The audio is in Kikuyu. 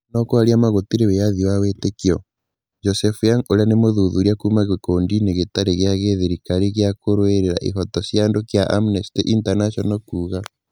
No kwaria maa gũtirĩ wĩyathi wa wĩtĩkio, Joseph Yang na ũrĩa nĩ mũthuthuria kuuma gĩkundi-inĩ gĩtarĩ gĩa gĩthirikari gĩa kũrũĩra ihooto cia andũ kĩa Amnesty International kuuga